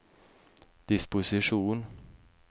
disposisjon